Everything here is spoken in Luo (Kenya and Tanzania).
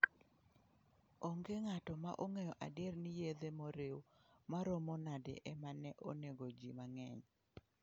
Onge ng'ato ma ong'eyo adier ni yedhe moriw maromo nade ema ne onego ji mang'eny.